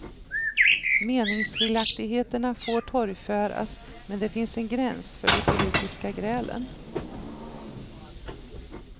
Meningskiljaktigheterna får torgföras, men det finns en gräns för de politiska grälen.